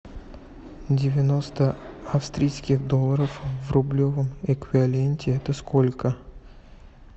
девяносто австрийских долларов в рублевом эквиваленте это сколько